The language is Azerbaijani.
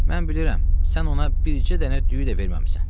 Mən bilirəm, sən ona bircə dənə düyü də verməmisən.